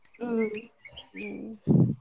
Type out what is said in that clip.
ಹ್ಮ್ ಹ್ಮ್ .